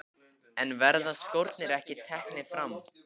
En verða skórnir ekki teknir fram?